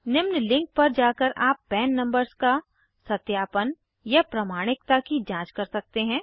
निम्न लिंक पर जाकर आप पन नंबर्स का सत्यापन या प्रमाणिकता की जाँच कर सकते हैं